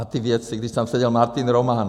A ty věci, když tam seděl Martin Roman.